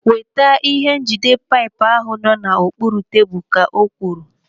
Weta ihe njide paipu ahụ nọ n'okpuru tebụl, ka o kwuru.